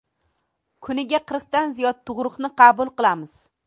Kuniga qirqdan ziyod tug‘ruqni qabul qilamiz.